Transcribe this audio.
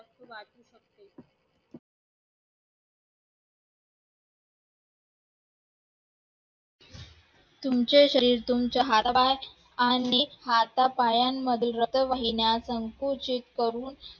तुमचे शरीर, तुमचे हातपाय आणि हातापायांमधी रक्तवाहिन्या संकुचित करून